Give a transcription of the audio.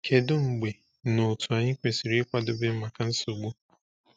Kedu mgbe na otú anyị kwesịrị ịkwadebe maka nsogbu?